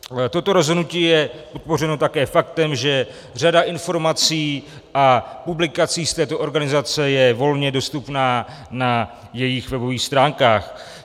Toto rozhodnutí je podpořeno také faktem, že řada informací a publikací z této organizace je volně dostupná na jejich webových stránkách.